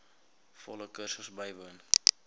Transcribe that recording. volle kursus bywoon